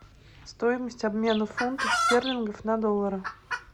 стоимость обмена фунтов стерлингов на доллары